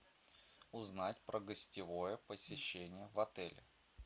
узнать про гостевое посещение в отеле